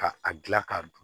Ka a gilan ka dun